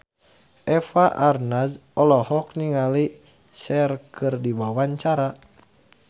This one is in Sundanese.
Eva Arnaz olohok ningali Cher keur diwawancara